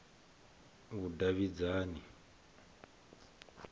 vhudavhidzani